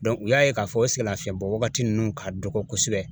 u y'a ye k'a fɔ o sɛgɛnlafiɲɛbɔwagati ninnu ka dɔgɔ kosɛbɛ